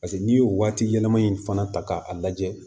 paseke n'i y'o waati yɛlɛma in fana ta k'a lajɛ